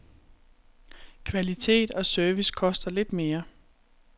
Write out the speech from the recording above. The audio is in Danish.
Kvalitet og service koster lidt mere.